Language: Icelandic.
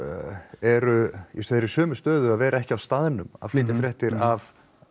eru sömu stöðu að vera ekki á staðnum að flytja fréttir af